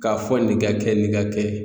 K'a fɔ nin ka kɛ nin ka kɛ.